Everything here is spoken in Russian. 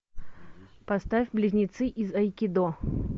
поставь близнецы из айкидо